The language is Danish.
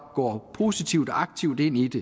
går positivt og aktivt ind i det